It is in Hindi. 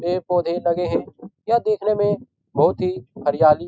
पेड़ पौधे लगे हैं | यह देखने में बहुत ही हरियाली --